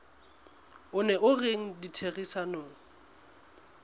o neng o rena ditherisanong